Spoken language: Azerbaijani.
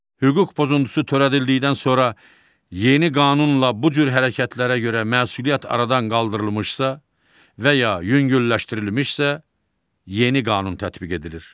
Hüquq pozuntusu törədildikdən sonra yeni qanunla bu cür hərəkətlərə görə məsuliyyət aradan qaldırılmışsa və ya yüngülləşdirilmişsə, yeni qanun tətbiq edilir.